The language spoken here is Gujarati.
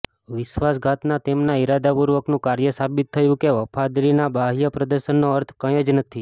વિશ્વાસઘાતના તેમના ઇરાદાપૂર્વકનું કાર્ય સાબિત થયું કે વફાદારીના બાહ્ય પ્રદર્શનનો અર્થ કંઈ જ નથી